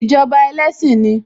Ìjọba ẹlẹ́sìn ni